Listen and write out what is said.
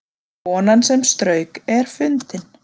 Konan sem strauk er fundin